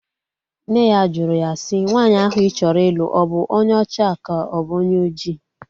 Nne ya jụrụ ya si, nwaanyị ahụ ị chọrọ ịlụ ọ bụ onye ọcha ka ọ bụ onye oji?